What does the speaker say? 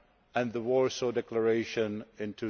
and the Warsaw Declaration in